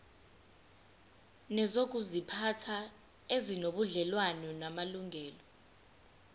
nezokuziphatha ezinobudlelwano namalungelo